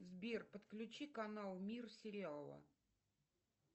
сбер подключи канал мир сериала